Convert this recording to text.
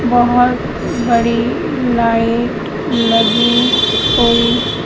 बहुत बड़ी लाइट लगी हुई।